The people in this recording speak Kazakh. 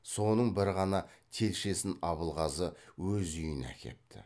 соның бір ғана телшесін абылғазы өз үйіне әкепті